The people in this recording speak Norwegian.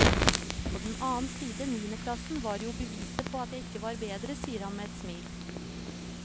På den annen side, niendeplassen var jo beviset på at jeg ikke var bedre, sier han med et smil.